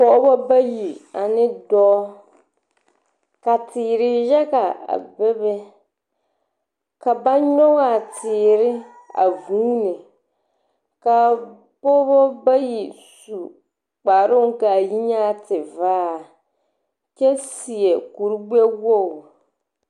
pɔgeba bayi ane dɔɔ. Ka teere yaga a bebe. Ka ba nyɔge a teere a vuuni. Ka a pɔgeba bayi su kparoŋ ka a yi nyɛ tevaare kyɛ seɛ kurogbɛwogi.